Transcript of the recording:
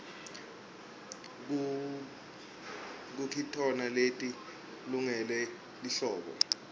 kukitona leti lungele lihlobo